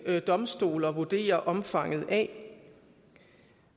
domstole at vurdere omfanget af